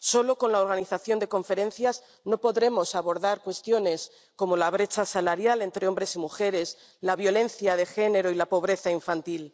Solo con la organización de conferencias no podremos abordar cuestiones como la brecha salarial entre hombres y mujeres, la violencia de género y la pobreza infantil.